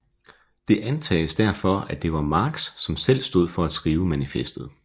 Det antages derfor at det var Marx som selv stod for at skrive manifestet